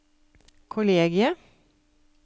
kollegiet